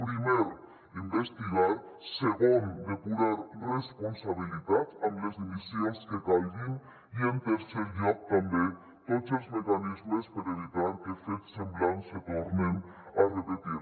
primer investigar segon depurar responsabilitats amb les dimissions que calguin i en tercer lloc també tots els mecanismes per evitar que fets semblants se tornen a repetir